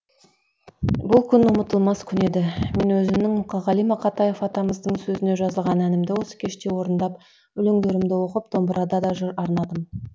бұл күн ұмытылмас күн еді мен өзімнің мұқағали мақатаев атамыздың сөзіне жазылған әнімді осы кеште орындап өлеңдерімді оқып домбырада да жыр арнадым